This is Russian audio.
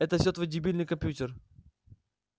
это всё твой дебильный компьютер